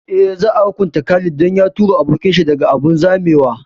Eh, za a hukunta Khalid dan ya tura abokin shi daga abun zamewa